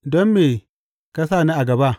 Don me ka sa ni a gaba?